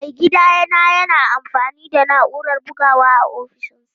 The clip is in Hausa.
Maigidana yana amfani da na'urar bugawa a ofishinsa.